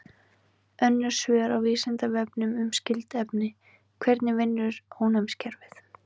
Önnur svör á Vísindavefnum um skyld efni: Hvernig vinnur ónæmiskerfið?